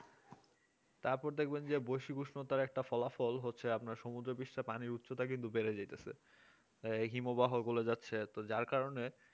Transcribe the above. তারপরে দেখবেন যে বশি উষ্ণতার একটা ফলাফল হচ্ছে আপনার সমুদ্রপৃষ্ঠ পানির উচ্চতা কিন্তু বেড়ে যাইতেছে হিমবাহ গুলো গলে যাচ্ছে যার কারণে